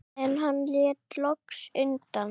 En hann lét loks undan.